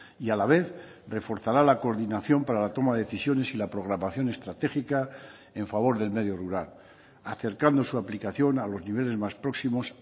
y a la vez reforzará la coordinación para la toma de decisiones y la programación estratégica en favor del medio rural acercando su aplicación a los niveles más próximos